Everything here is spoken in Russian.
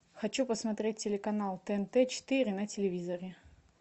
хочу посмотреть телеканал тнт четыре на телевизоре